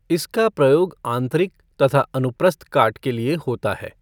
इसका प्रयोग आंतरिक तथा अनुप्रस्थ काट के लिए होता है।